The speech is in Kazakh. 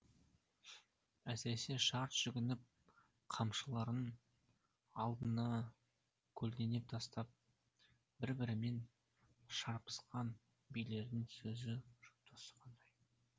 әсіресе шарт жүгініп қамшыларын алдына көлденең тастап бір бірімен шарпысқан билердің сөз жұптасы қандай